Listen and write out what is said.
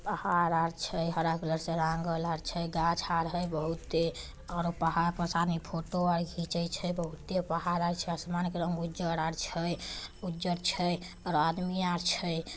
पहाड़ आर छय हारा कलर से रंगल आर छय घास हार हय बहुते और पहाड़ पे सने फोटो खिंचे छय बहुते पहाड़ आर छय आसमान का रंग उजर आर छय उजर छय और आदमी आर छय।